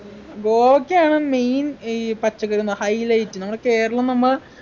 ഗോവക്കയാണ് main ഈ പച്ചക്കറിന്ന highlight നമ്മുടെ കേരളം നമ്മ